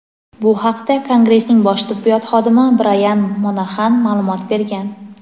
Bu haqda kongressning bosh tibbiyot xodimi Brayan Monaxan ma’lumot bergan.